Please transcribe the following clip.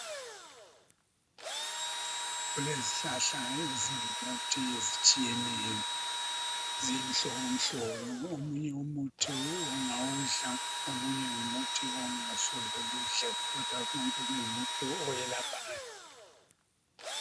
Kulezihlahla ezingumuthi ezitshiyeneyo. Ziyimhlobomhlobo. Omunye umuthi ungawudla omunye ngumuthi ongasoze uwudle kodwa ungumuthi oyelaphayo.